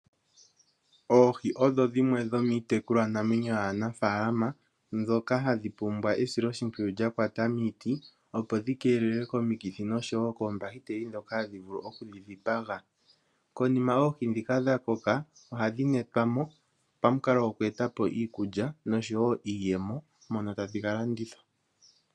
Oohi odho dhimwe dhomiitekulwa namwenyo yaanafalama ndhoka hadhi pumbwa esilo shimpwiyu lya kwata miiti opo dhi keelelwe komikithi nokoombahiteli ndhoka hadhi vulu oku dhi dhipaga. Konima oohi ndhika dha koka ohadhi netwa mo pamukalo goku etapo iikulya niiyemo uuna tadhi ka landithwa.